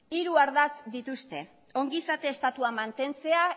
hiru ardatz dituzte ongizate estatua mantentzea